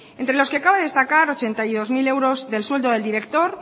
entre los que acaba de destacar ochenta y dos mil euros del sueldo del director